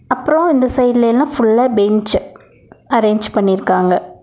அப்றோ இந்த சைட்லெல்லா ஃபுல்லா பெஞ்ச் அரேஞ்ச் பண்ணிர்க்காங்க.